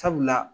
Sabula